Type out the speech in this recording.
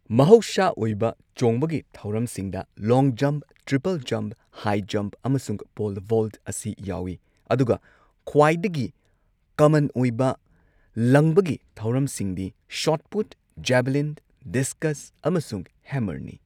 ꯃꯍꯧꯁꯥ ꯑꯣꯏꯕ ꯆꯣꯡꯕꯒꯤ ꯊꯧꯔꯝꯁꯤꯡꯗ long jump, triple jump, high jump, ꯑꯃꯁꯨꯡ ꯄꯣꯜ ꯚꯣꯜꯠ ꯑꯁꯤ ꯌꯥꯎꯏ, ꯑꯗꯨꯒ ꯈ꯭ꯋꯥꯏꯗꯒꯤ ꯀꯃꯟ ꯑꯣꯏꯕ ꯂꯪꯕꯒꯤ ꯊꯧꯔꯝꯁꯤꯡꯗꯤ ꯁꯣꯠ ꯄꯨꯠ, ꯖꯦꯚꯂꯤꯟ, ꯗꯤꯁꯀꯁ, ꯑꯃꯁꯨꯡ ꯍꯦꯝꯃꯔꯅꯤ꯫